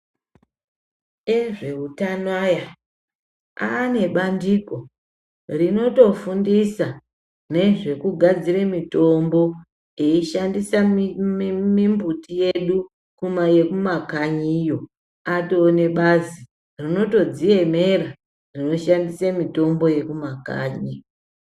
Ezveutano aya, ane bandiko, rinotofundisa nezvekugadzira mitombo, eishandisa mimbiti yedu, yekumakanyiyo ibazi rinotodziemera rinoshandise mutombo yekumakanyi.